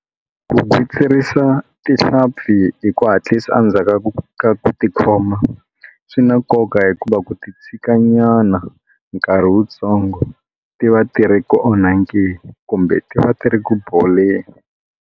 Ku gwitsirisa tihlampfi hi ku hatlisa endzhaku ka ku tikhoma swi na nkoka hikuva ku ti tshika nyana nkarhi wutsongo ti va ti ri ku onhakeni kumbe ti va ti ri ku boleni.